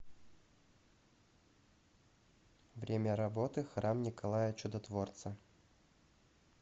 время работы храм николая чудотворца